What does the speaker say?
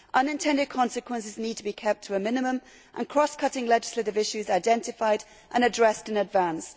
Unintended consequences need to be kept to a minimum and cross cutting legislative issues identified and addressed in advance.